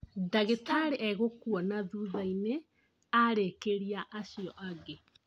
Ndagĩtarĩ egũkwona thuthainĩ arĩkĩria acio angĩ